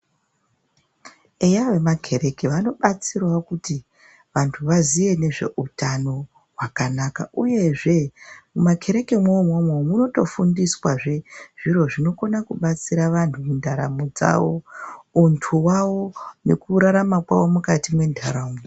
Eya vemakhereke vanobatsirawo kuti vantu vaziye ngezveutano hwakanaka, uyezve mumakherekemwo umwomwo, munotofundiswazve zviro zvinokona kubatsira vantu mundaramo dzavo; untu wavo; ngekurarama kwawo mukati mwentaraunda.